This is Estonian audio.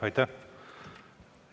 Aitäh!